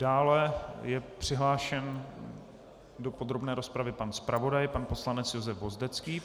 Dále je přihlášen do podrobné rozpravy pan zpravodaj, pan poslanec Josef Vozdecký.